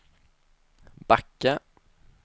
backa